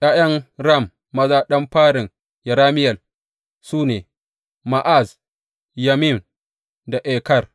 ’Ya’yan Ram maza ɗan farin Yerameyel su ne, Ma’az, Yamin da Eker.